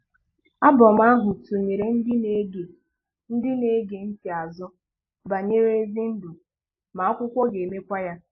Album ahụ tụnyere ndị na-ege ndị na-ege ntị azụ banyere ezi ndụ, ma akwụkwọ ga-emekwa ya.